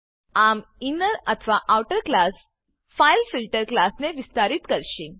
આમ આ ઇનર અથવા આઉટર ક્લાસ ફાઇલફિલ્ટર ફાઈલફીલ્ટર ક્લાસને વિસ્તારિત કરશે